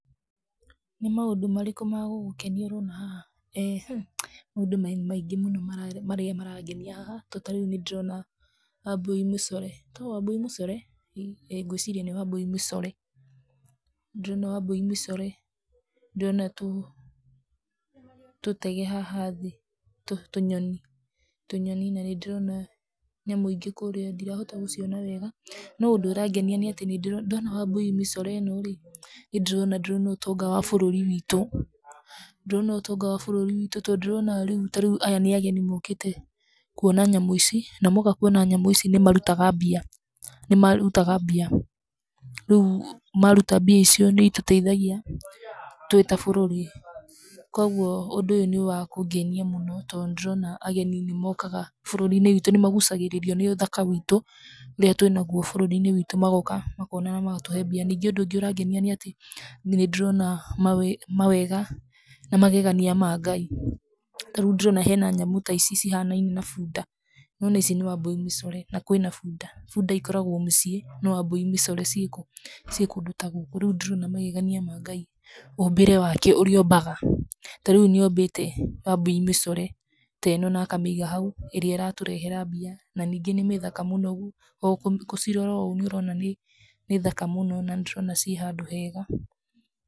Nĩ maũndũ marĩkũ ma gũgũkenia ũrona haha? Nĩ maũndũ maingĩ mũno marĩa marangenia haha, tondũ ta rĩu nĩndĩrona Wambũi mĩcore, etagwo Wambũi mĩcore? ĩĩ nĩ gwĩciria nĩ Wambũi mĩcore. Ndĩrona Wambũi mĩcore ,ndĩrona tũtege haha thĩ, tũnyoni na nĩndĩrona nyamũ ĩngĩ kũrĩa ndirahota gũciona wega, no ũndũ ũrangenia nĩatĩ ndona Wambũi mĩcore ino rĩ, niĩ ndĩrona ũtonga wa ybũrũri witũ. Ndĩrona ũtonga wa bũrũri witũ tondũ ndĩrona rĩu tarĩu aya nĩ ageni mokĩte, kuona nyamũ ici. Na moka kuona nyamũ ici ,na moka kuona nyamũ ici nĩ marutaga mbia. Rĩu maruta mbia icio nĩ itũteithagia twĩ ta bũrũri. Koguo ũndũ ũyũ nĩwakũngenia mũno ,tondũ nĩndĩrona agenĩ nĩ mokaga bũrũri-inĩ witũ nĩ magucagĩrĩrio nĩ ũthaka witũ, ũrĩa twĩnaguo bũrũri-inĩ witũ .Magoka makona ,na magatũhe mbia .Ningĩ ũndũ ũngĩ ũrangenia nĩatĩ ,nĩndĩrona mawega na magegania ma Ngai .Tarĩu ndĩrona he na nyamũ ta ici cihanaine na buda. Nĩwona ici nĩ Wambũi mĩcore, na kwĩ na buda. Buda ikoragwo mũciĩ no Wambũi mĩcore cirĩ kũ?cirĩ kũndũ ta gũkũ ,rĩu ndĩrona magegania ma Ngai ,mũmbĩre wake ũrĩa ombaga, ta riũ nĩombĩte Wambũi mĩcore teno, na akamĩiga hau, ĩrĩa ĩratũrehera mbia na ningi nĩ mĩthaka mũno, gũcirora o uguo ũrona nĩ thaka mũno, na nĩndĩrona cirĩ handu hega.